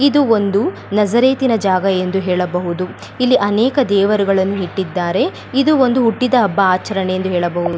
ಇದು ಒಂದು ನಜರೇತಿನ ಜಾಗ ಎಂದು ಹೇಳಬಹುದು ಇಲ್ಲಿ ಅನೇಕ ದೇವರುಗಳನ್ನು ಇಟ್ಟಿದ್ದಾರೆ ಇದು ಒಂದು ಹುಟ್ಟಿದ್ ಹಬ್ಬ ಆಚರಣೆ ಎಂದು ಹೇಳಬಹುದು .